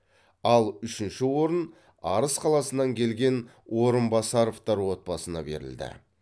ал үшінші орын арыс қаласынан келген орынбасаровтар отбасына берілді